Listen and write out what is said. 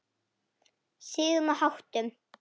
Siðum og háttum.